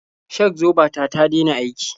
Shak-zoba ta ta dena aiki.